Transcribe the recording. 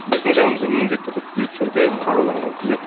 біздің жанымызда міндетті түрде күзет жүрді қаруланған күзет